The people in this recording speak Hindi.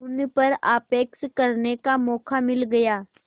उन पर आक्षेप करने का मौका मिल गया